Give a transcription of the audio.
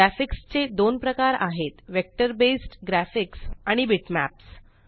graphics चे दोन प्रकार आहेत vector बेस्ड ग्राफिक्स आणि बिटमॅप्स